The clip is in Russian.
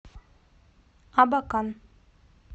абакан